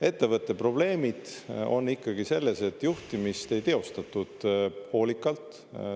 Ettevõtte probleemid on ikkagi selles, et juhtimist ei teostatud hoolikalt.